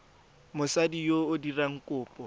mosadi yo o dirang kopo